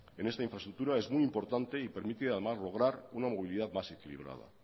en esta infraestructura es muy importante y permite además lograr una movilidad más equilibrada